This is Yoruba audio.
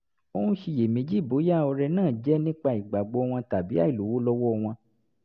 ó ń ṣiyèméjì bóyá ọrẹ náà jẹ́ nípa ìgbàgbọ́ wọn tàbí àìlówó lọ́wọ́ wọn